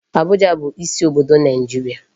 Abuja bụ isi obodo Naịjirịa.